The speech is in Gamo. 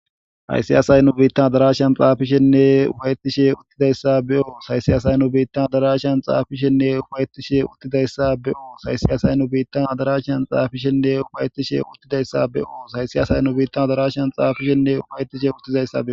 haysiyaasay nu biittan darashan xaafishenne ufayttishe uttidayssa beoo saysiyaasay nu biittan darashan xaafishenne ufayettishe uttidayssa be7oo saysiyasay nu biittan adarashsan xaafishenne ufayetishe uttidayssa be7oo saysiyasay nu biittan darashan xaafishenne ufaytishe uttizayssa